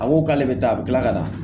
A ko k'ale bɛ taa a bɛ tila ka taa